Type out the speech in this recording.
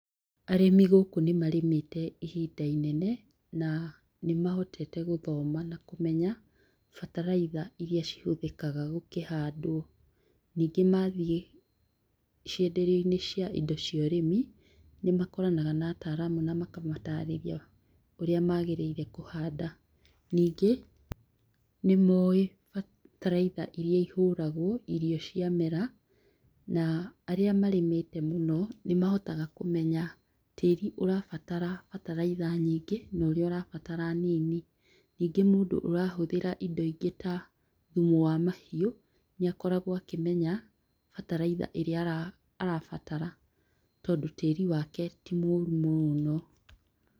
Arĩmi gũkũ nĩmarĩmĩte ihinda inene na nĩmahotete gũthoma na kũmenya bataraitha iria cihũthĩkaga gũkĩhandwo, ningĩ mathiĩ cienderio-inĩ cia indo cia ũrĩmi nĩmakoranaga na ataramu na makamatarĩria ũrĩa magĩrĩire kũhanda. Ningĩ nĩmoĩ bataraitha iria ihũragwo irio ciamera na aria marĩmĩte mũno nĩmahotaga kũmenya tĩri ũrabatara bataraitha nyingĩ na ũria ũrabatara nini. Ningĩ mũndũ ũrahũthĩra indo ingĩ ta thumu wa mahiũ nĩakoragwo akĩmenya bataraitha iria arabatara tondũ tĩri wake ti mũru mũno.